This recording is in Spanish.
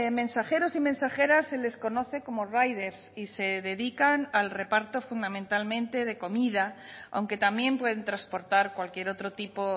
mensajeros y mensajeras se les conoce como riders y se dedican al reparto fundamentalmente de comida aunque también pueden transportar cualquier otro tipo